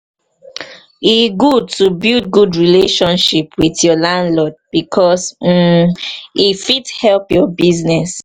e good to build good relationship with your landlord bicos um e fit help your business.